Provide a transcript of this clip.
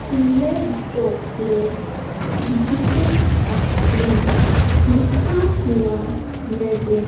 Doppler digital X ray लिखा हुआ नजर--